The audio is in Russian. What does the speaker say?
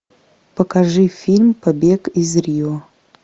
покажи фильм побег из рио